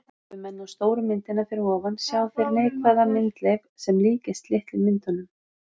Horfi menn á stóru myndina fyrir ofan sjá þeir neikvæða myndleif sem líkist litlu myndunum.